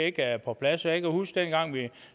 ikke er på plads jeg kan huske dengang vi